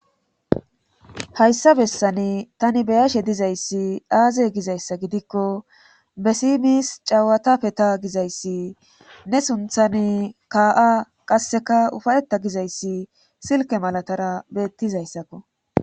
Hayssa bessani tani be7ashe dizayssi aaze gizayssa gidikko be sms cewata feta gizayssi ne sunthani kaa7a qasseka ufaytta gizayssi silkke malatara beettizayssakko.